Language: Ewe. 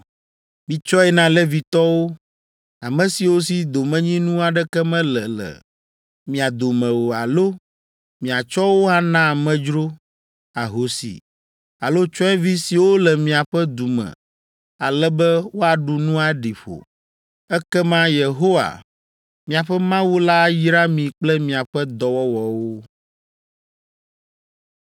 Mitsɔe na Levitɔwo, ame siwo si domenyinu aɖeke mele le mia dome o alo miatsɔ wo ana amedzro, ahosi alo tsyɔ̃evi siwo le miaƒe du me ale be woaɖu nu aɖi ƒo. Ekema Yehowa, miaƒe Mawu la ayra mi kple miaƒe dɔwɔwɔwo.”